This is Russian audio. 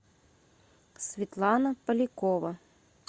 светлана полякова